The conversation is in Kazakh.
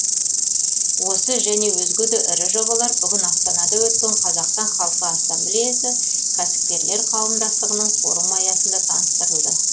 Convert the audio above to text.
осы және өзге де ірі жобалар бүгін астанада өткен қазақстан халқы ассамблеясы кәсіпкерлер қауымдастығының форумы аясында таныстырылды